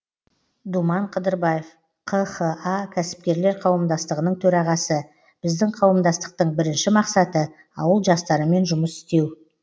думан қыдырбаев қха кәсіпкерлер қауымдастығының төрағасы біздің қауымдастықтың бірінші мақсаты ауыл жастарымен жұмыс істеу